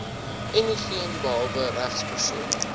enigeen behalwe regspersone